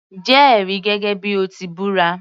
Jẹ́ ẹ̀rí gẹ́gẹ́ bíi o ti búra